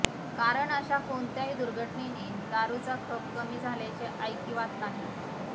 कारण अशा कोणत्याही दुर्घटनेने दारूचा खप कमी झाल्याचे ऐकिवात नाही